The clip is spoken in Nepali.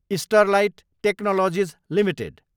Sterlite technologies Ltd